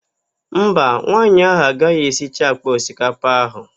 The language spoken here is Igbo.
Mba, nwaanyị ahụ agaghị esicha àkpà osikapa ahụ.